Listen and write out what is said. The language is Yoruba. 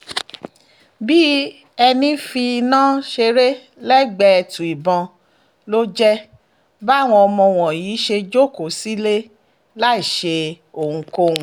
bíi ẹni ń fi iná ṣeré lẹ́gbẹ̀ẹ́ ètu ìbọn ló jẹ́ báwọn ọmọ wọ̀nyí ṣe jókòó sílé láì ṣe ohunkóhun